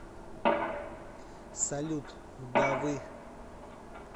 салют да вы